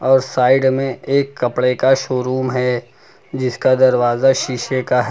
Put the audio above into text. और साइड में एक कपड़े का शोरूम है जिसका दरवाजा शीशे का है।